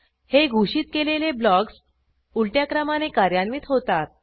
हे घोषित केलेले ब्लॉक्स उलट्या क्रमाने कार्यान्वित होतात